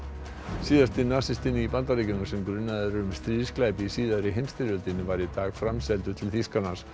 síðasti nasistinn í Bandaríkjunum sem grunaður er um stríðsglæpi í síðari heimsstyrjöldinni var í dag framseldur til Þýskalands